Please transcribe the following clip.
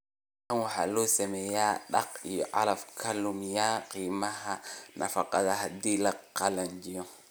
Tan waxa loo sameeyaa daaqa iyo calafka luminaya qiimaha nafaqada haddii la qalajiyo